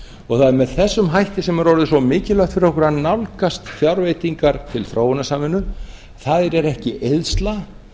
og það er með þessum hætti sem það er orðið svo mikilvægt fyrir okkur að nálgast fjárveitingar til þróunarsamvinnu þær eru ekki eyðsla